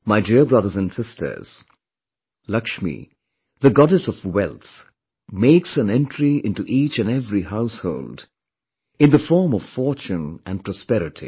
My dear brothers and sisters, Laxmi, the goddess of wealth, makes an entry into each and every household in the form of fortune and prosperity